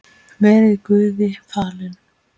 Verið Guði falin.